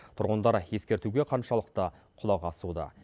тұрғындар ескертуге қаншалықты құлақ асуда